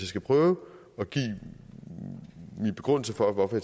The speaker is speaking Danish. skal prøve at give en begrundelse for hvorfor